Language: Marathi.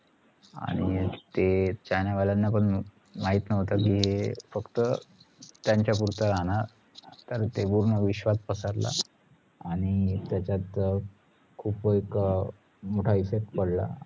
आणी ते चाइना वालाना पण माहीत नव्हतं कि हे फक्त्त त्याचं पुरता रहाणार तर ते पूर्ण विश्वात पसरलं आणि त्याच्यात अह खुप एक अह मोटा effect पडला